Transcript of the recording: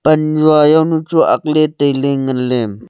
pan jua ya nuam chu akley nganley tailey.